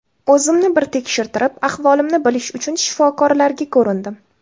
O‘zimni bir tekshirtirib, ahvolimni bilish uchun shifokorlarga ko‘rindim.